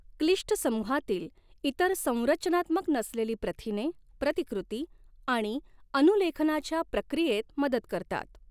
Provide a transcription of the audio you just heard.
क्लिष्ट समूहातील इतर संरचनात्मक नसलेली प्रथिने, प्रतिकृती आणि अनुलेखनाच्या प्रक्रियेत मदत करतात.